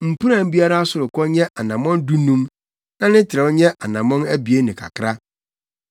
Mpuran biara sorokɔ nyɛ anammɔn dunum na ne trɛw nyɛ anammɔn abien ne kakra.